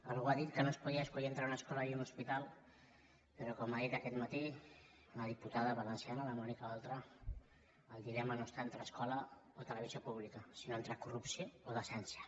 algú ha dit que no es podia escollir entre una escola i un hospital però com ha dit aquest matí una diputada valenciana la mònica oltra el dilema no està entre escola o televisió pública sinó entre corrupció o decència